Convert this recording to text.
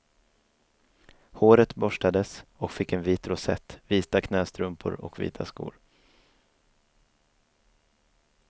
Håret borstades och fick en vit rosett, vita knästrumpor och vita skor.